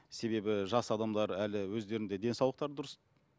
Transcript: себебі жас адамдар әлі өздерінің де денсаулықтары дұрыс